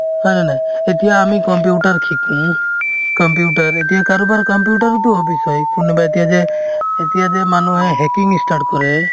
হয়নে নাই এতিয়া আমি computer শিকো computer এতিয়া কাৰোবাৰ computer ওতো hobbies হয় কোনোবাই এতিয়া যে এতিয়া যে মানুহে hacking ই start কৰে